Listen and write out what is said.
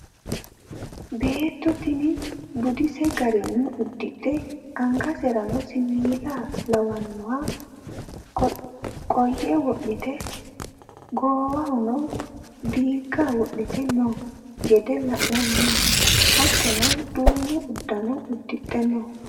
beetto tini budise garinni uddidhe angaserano siiwiila lawanno coye wodhite goowahono diigga wodhite noo gede la'nanni . hattono duume uddano uddidhe no.